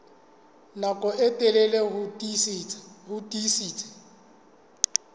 nako e telele ho tiisitse